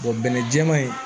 bɛnɛ jɛman in